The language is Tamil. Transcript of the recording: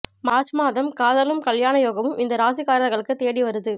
மார்ச் மாதம் காதலும் கல்யாண யோகமும் இந்த ராசிக்காரங்களுக்கு தேடி வருது